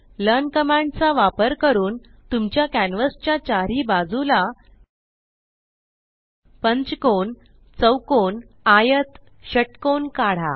learn command चा वापर करून तुमच्या कॅन्वस च्या चारीही बाजूला पंचकोन चौकोन आयत षटकोन काढा